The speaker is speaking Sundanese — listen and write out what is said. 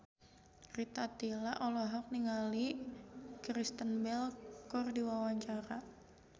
Rita Tila olohok ningali Kristen Bell keur diwawancara